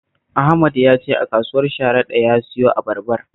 Ahmad ya ce a kasuwar Sharada ya siyo abarbar